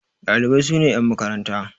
Ɗalibai sune yan makaranta.